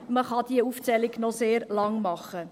man kann diese Aufzählung noch sehr lang machen.